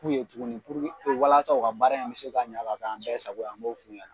F'u ye tuguni walasa u ka baara in bi se ka ɲa ka k'an bɛɛ sago ye, an b'o f'u ɲɛna